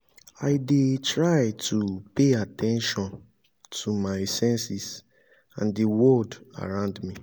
i dey try to pay at ten tion to my senses and di word around me.